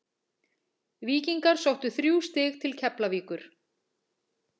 Víkingar sóttu þrjú stig til Keflavíkur.